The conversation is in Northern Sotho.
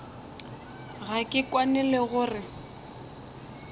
ga ke kwane le gore